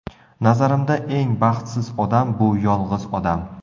Nazarimda eng baxtsiz odam bu yolg‘iz odam.